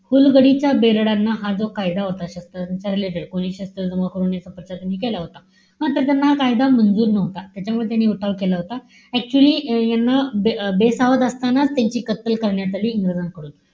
फुलगडीच्या बेरडांना हा जो कायदा होता. शस्त्रांच्या related. कोणी शस्त्र जमा करू नये असा त्यांनी केला होता. हं तर त्याना कायदा मंजूर नव्हता. त्याच्यामुळे त्यांनी उठाव केला होता. Actually यांचं बे बेसावध असताना त्याची कत्तल करण्यात आली इंग्रजांकडून,